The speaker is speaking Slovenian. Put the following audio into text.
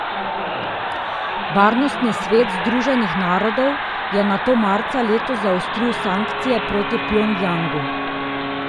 Varnostni svet Združenih narodov je nato marca letos zaostril sankcije proti Pjongjangu.